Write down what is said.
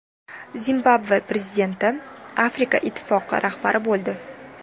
Zimbabve prezidenti Afrika ittifoqi rahbari bo‘ldi.